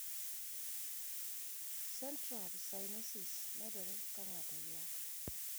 Central cyanosis medore kang`ato ywak.